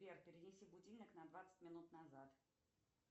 сбер перенеси будильник на двадцать минут назад